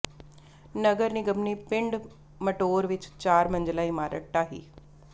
ਨਗਰ ਨਿਗਮ ਨੇ ਪਿੰਡ ਮਟੌਰ ਵਿੱਚ ਚਾਰ ਮੰਜਿਲਾਂ ਇਮਾਰਤ ਢਾਹੀ